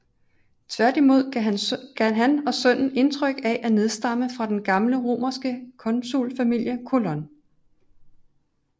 Tværtimod gav han og sønnen indtryk af at nedstamme fra den gamle romerske konsulfamilie Colon